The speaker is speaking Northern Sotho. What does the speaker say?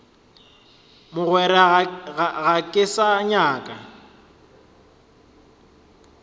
mogwera ga ke sa nyaka